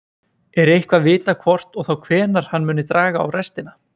Er eitthvað vitað hvort og þá hvenær hann muni draga á restina?